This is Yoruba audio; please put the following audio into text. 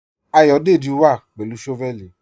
Ayọ̀dẹ́jì wà pẹ̀lú shọ́vẹ̀lì.